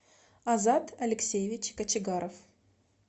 азат алексеевич кочегаров